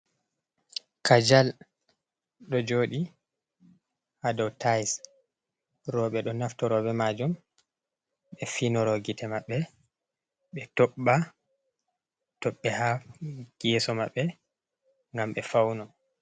Kajal ɗo jodi ha dow tais roɓe ɗo naftoro be majum ɓe finoro gite maɓɓe ɓe tobba tobɓe ha geso maɓɓe ngam be fauno.